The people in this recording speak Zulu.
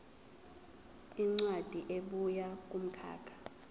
incwadi ebuya kumkhakha